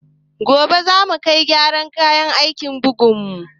Gobe za mu kai gyaran kayan aikin bugun mu